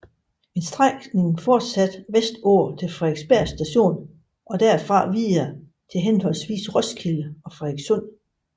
En strækning fortsatte vestpå til Frederiksberg Station og derfra videre mod henholdsvis Roskilde og Frederikssund